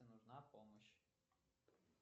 нужна помощь